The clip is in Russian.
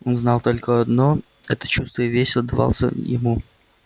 он знал только одно это чувство и весь отдавался ему